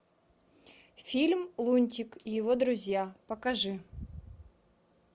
фильм лунтик и его друзья покажи